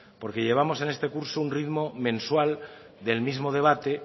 porque llevamos en este curso un ritmo mensual del mismo debate